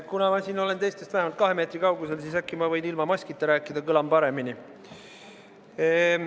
Kuna ma olen siin teistest vähemalt kahe meetri kaugusel, siis äkki ma võin ilma maskita rääkida, kõlan paremini.